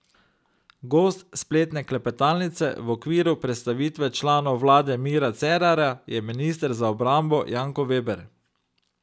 Gost spletne klepetalnice v okviru predstavitve članov vlade Mira Cerarja je minister za obrambo Janko Veber.